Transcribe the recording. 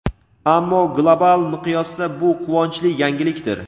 ammo global miqyosda bu quvonchli yangilikdir.